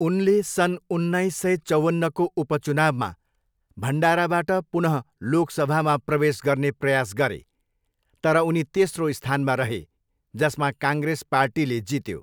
उनले सन् उन्नाइस सय चौवन्नको उपचुनावमा भण्डाराबाट पुनः लोकसभामा प्रवेश गर्ने प्रयास गरे तर उनी तेस्रो स्थानमा रहे, जसमा काङ्ग्रेस पार्टीले जित्यो।